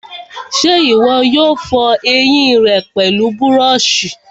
ṣé ìwọ yóò fọ ẹyìn rẹ pẹlú búrọ̀sì?